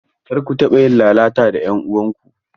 Karda ku taɓa yin lalata da 'yan uwanku!